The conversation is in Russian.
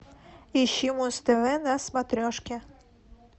ищи муз тв на смотрешке